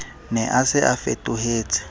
ne a se a fetohetse